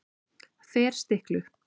Ferstiklu